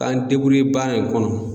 K'an baara in kɔnɔ